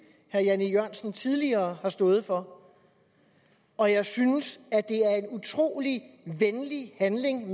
herre jan e jørgensen tidligere har stået for og jeg synes at det er en utrolig venlig handling